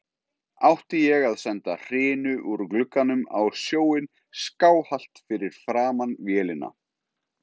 Átti ég að senda hrinu úr glugganum á sjóinn skáhallt fyrir framan vélina